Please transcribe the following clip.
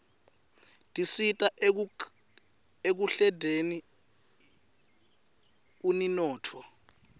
tisita ekukhldeni uninotfo